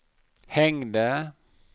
hängde